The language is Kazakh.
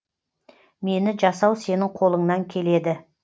мені жасау сенің қолыңнан келеді